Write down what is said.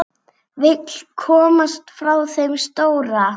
Vill komast frá þeim stóra.